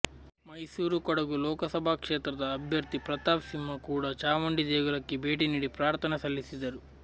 ಮೈಸೂರು ಕೊಡಗು ಲೋಕಸಭಾ ಕ್ಷೇತ್ರದ ಅಭ್ಯರ್ಥಿ ಪ್ರತಾಪ್ ಸಿಂಹ ಕೂಡ ಚಾಮುಂಡಿ ದೇಗುಲಕ್ಕೆ ಭೇಟಿ ನೀಡಿ ಪ್ರಾರ್ಥನೆ ಸಲ್ಲಿಸಿದರು